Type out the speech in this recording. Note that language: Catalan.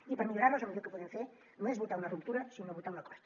i per millorar les el millor que podem fer no és votar una ruptura sinó votar un acord